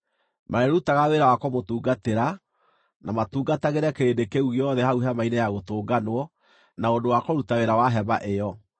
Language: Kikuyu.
Marĩĩrutaga wĩra wa kũmũtungatĩra, na matungatagĩre kĩrĩndĩ kĩu gĩothe hau Hema-inĩ-ya-Gũtũnganwo na ũndũ wa kũruta wĩra wa hema ĩyo.